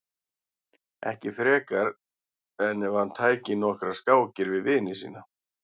Ekki frekar en ef hann tæki nokkrar skákir við vini sína.